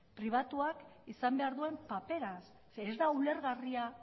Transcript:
pribatuak izan behar duen papera ez da ulergarria